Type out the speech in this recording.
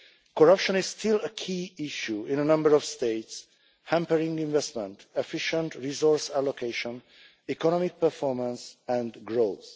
Corruption is still a key issue in a number of states, hampering investment, efficient resource allocation, economic performance and growth.